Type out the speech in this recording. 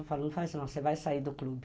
Eu falo, não faz não, você vai sair do clube.